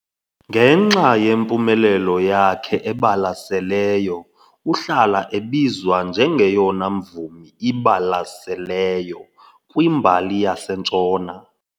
Ngenxa yempumelelo yakhe ebalaseleyo, uhlala ebizwa njengeyona mvumi ibalaseleyo kwimbali yaseNtshona.